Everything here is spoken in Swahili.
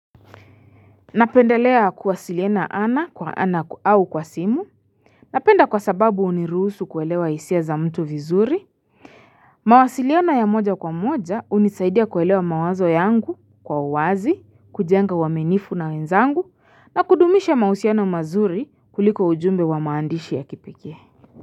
Napendelea kuwasiliana ana kwa ana au kwa simu Napenda kwa sababu unirusu kuelewa isia za mtu vizuri mawasiliano ya moja kwa moja unisaidia kuelewa mawazo yangu kwa uwazi kujenga uaminifu na wenzangu na kudumisha mausiano mazuri kuliko ujumbe wa maandishi ya kipekee.